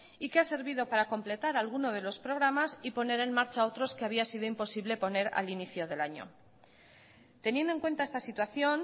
y que ha servido para completar alguno de los programas y poner en marcha otros que había sido imposible poner al inicio del año teniendo en cuenta esta situación